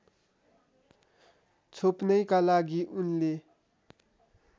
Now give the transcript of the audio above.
छोप्नैका लागि उनले